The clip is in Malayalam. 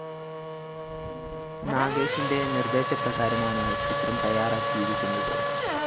നാഗേഷിന്റെ നിർദ്ദേശപ്രകാരമാണ് ചിത്രം തയ്യാറാക്കിയിരിക്കുന്നത്